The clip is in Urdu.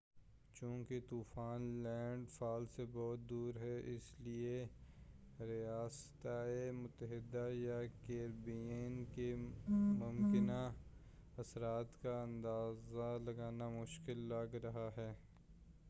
چونکہ طوفان لینڈ فال سے بہت دور ہے اس لئے ریاستہائے متحدہ یا کیریبین کے ممکنہ اثرات کا اندازہ لگانا مشکل لگ رہا ہے